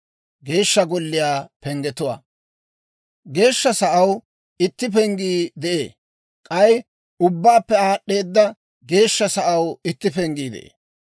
Geeshsha Sa'aw itti penggii de'ee; k'ay ubbaappe aad'd'eeda geeshsha sa'aw itti penggii de'ee.